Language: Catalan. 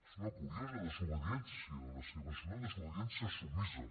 és una curiosa desobediència la seva és una desobediència submisa